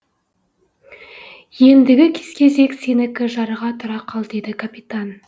ендігі кезек сенікі жарға тұра қал деді капитан